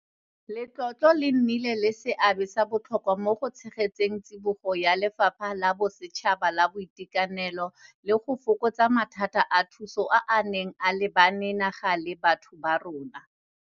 Letlotlo le nnile le seabe sa botlhokwa mo go tshegetseng tsibogo ya lefapha la bosetšhaba la boitekanelo le go fokotsa mathata a thuso a a neng a lebane naga le batho ba rona.